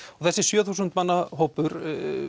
þessi sjö þúsund manna hópur